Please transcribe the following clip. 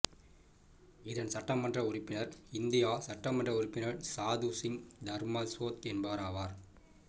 இதன் சட்ட மன்ற உறுப்பினர் இந்தியா சட்டமன்ற உறுப்பினர் சாது சிங் தர்மசோத் என்பவராவார்